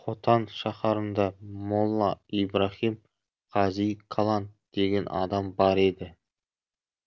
хотан шаһарында молла ибраһим қази калан деген адам бар еді